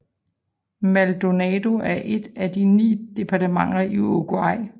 Maldonado er et af de 19 departementer i Uruguay